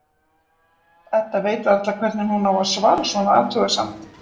Edda veit varla hvernig hún á að svara svona athugasemd.